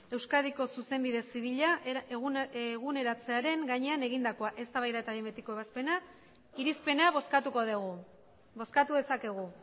euskadiko zuzenbide zibila eguneratzearen gainean egindakoa eztabaida eta behin betiko ebazpena irizpena bozkatuko dugu bozkatu dezakegu